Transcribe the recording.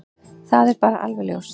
Það er bara alveg ljóst.